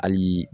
Hali